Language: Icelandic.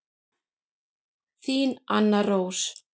Þín Anna Rós.